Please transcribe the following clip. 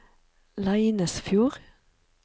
Leinesfjord